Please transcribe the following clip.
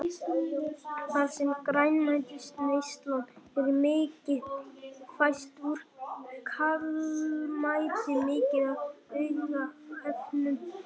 Þar sem grænmetisneyslan er mikil fæst úr kálmeti mikið af aukaefnum, söltum og vítamínum.